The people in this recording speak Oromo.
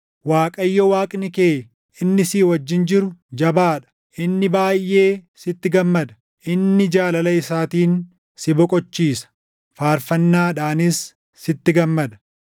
Waaqayyo Waaqni kee inni si wajjin jiru jabaa dha. Inni baayʼee sitti gammada; inni jaalala isaatiin si boqochiisa; faarfannaadhaanis sitti gammada.”